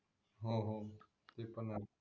हो हो ते पण आहे